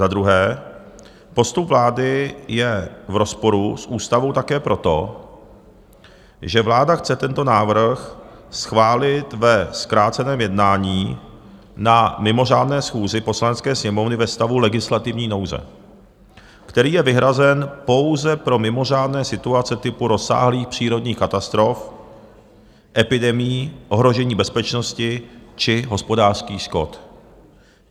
Za druhé, postup vlády je v rozporu s ústavou také proto, že vláda chce tento návrh schválit ve zkráceném jednání na mimořádné schůzi Poslanecké sněmovny ve stavu legislativní nouze, který je vyhrazen pouze pro mimořádné situace typu rozsáhlých přírodních katastrof, epidemií, ohrožení bezpečnosti či hospodářských škod.